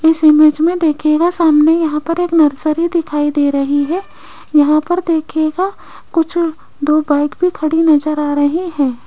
इस इमेज में देखिएगा सामने यहां पर एक नर्सरी दिखाई दे रही है यहां पर देखिएगा कुछ दो बाइक भी खड़ी नजर आ रहे हैं।